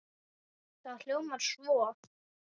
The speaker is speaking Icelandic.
Það hljóðar svo